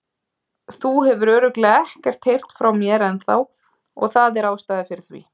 Þú hefur örugglega ekkert heyrt frá mér ennþá og það er ástæða fyrir því.